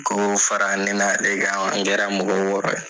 K'o fara ne n'ale kan, an kɛra mɔgɔ wɔɔrɔ ye.